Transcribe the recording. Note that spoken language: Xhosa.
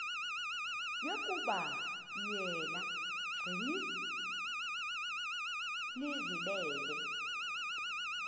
yokuba yena gcinizibele